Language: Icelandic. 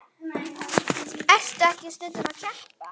Ertu ekki stundum að keppa?